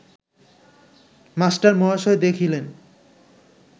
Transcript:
মাস্টারমহাশয় দেখিলেন